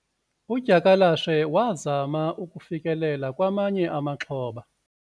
udyakalashe wazama ukufikelela kwamanye amaxhoba